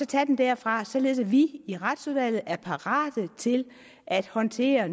tage den derfra således at vi i retsudvalget er parate til at håndtere